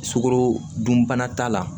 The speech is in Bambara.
Sukoro dunbana t'a la